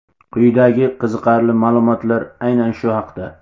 Quyidagi qiziqarli ma’lumotlar aynan shu haqda.